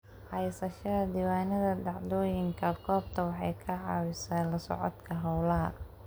Haysashada diiwaannada dhacdooyinka goobta waxay ka caawisaa la socodka hawlaha.